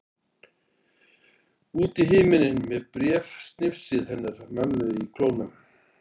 Út í himininn með bréfsnifsið hennar mömmu í klónum.